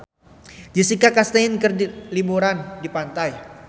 Jessica Chastain keur liburan di pantai